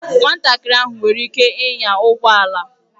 Nwatakịrị ahụ nwere ike ịnya ụgbọ ala